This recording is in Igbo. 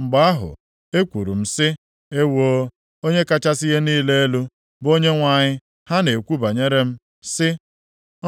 Mgbe ahụ, ekwuru m sị, “Ewoo, Onye kachasị ihe niile elu, bụ Onyenwe anyị ha na-ekwu banyere m, sị,